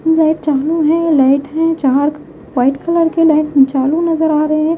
चालू हैं लाइट हैं वाइट कलर के लाइट चालू नजर आ रहे हैं।